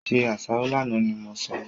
Se àsáró lánàá ni mo sọ!